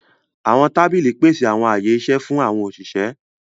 Àwọn tábìlì pèsè àwọn ààyè iṣẹ fún àwọn òṣìṣẹ́.